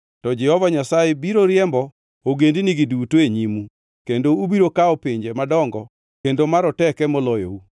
to Jehova Nyasaye biro riembo ogendinigi duto e nyimu, kendo ubiro kawo pinje madongo kendo maroteke moloyou.